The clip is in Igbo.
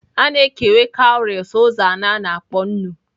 A na-ekewa cowries ụzọ anọ a na-akpọ nnu.